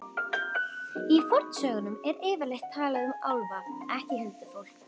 Í fornsögunum er yfirleitt talað um álfa, ekki huldufólk.